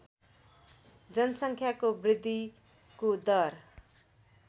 जनसङ्ख्याको वृद्धिको दर